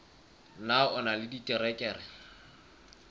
na o na le diterekere